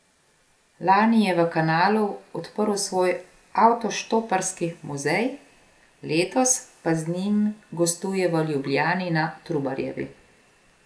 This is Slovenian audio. Lani je v Kanalu odprl svoj avtoštoparski muzej, letos pa z njim gostuje v Ljubljani na Trubarjevi.